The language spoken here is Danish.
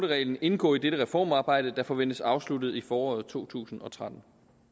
reglen indgå i dette reformarbejde der forventes afsluttet i foråret to tusind og tretten